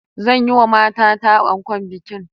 Zan yi wa matata ankon bikin